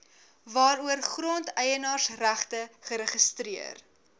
waaroor grondeienaarsregte geregistreer